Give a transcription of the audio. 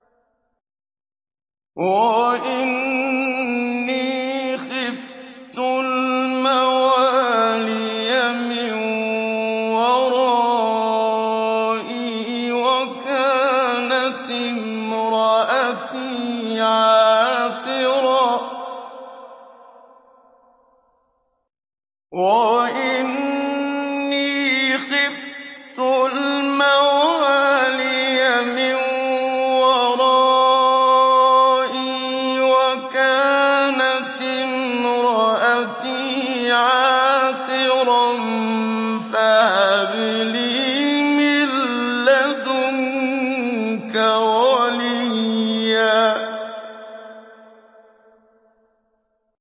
وَإِنِّي خِفْتُ الْمَوَالِيَ مِن وَرَائِي وَكَانَتِ امْرَأَتِي عَاقِرًا فَهَبْ لِي مِن لَّدُنكَ وَلِيًّا